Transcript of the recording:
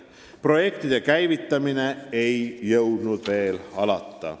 Projektide käivitamine ei jõudnud veel alata.